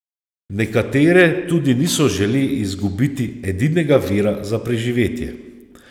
Nekatere tudi niso žele izgubiti edinega vira za preživetje.